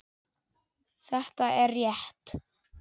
Þetta er rétt.